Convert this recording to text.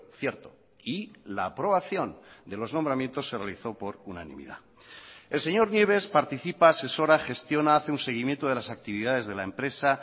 cierto y la aprobación de los nombramientos se realizó por unanimidad el señor nieves participa asesora gestiona hace un seguimiento de las actividades de la empresa